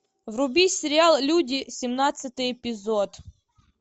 вруби сериал люди семнадцатый эпизод